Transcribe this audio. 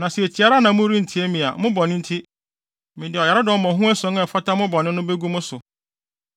“ ‘Na sɛ tie ara na morentie me a, mo bɔne nti, mede ɔyaredɔm mmɔho ason a ɛfata mo bɔne no begu mo so.